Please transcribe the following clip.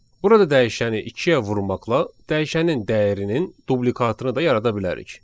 Burada dəyişəni ikiyə vurmaqla dəyişənin dəyərinin dublikatını da yarada bilərik.